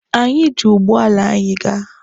Anyị ji ụgbọala nke anyị ga.